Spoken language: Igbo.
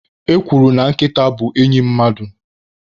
E kwuru na Nkịta bụ enyị mmadụ.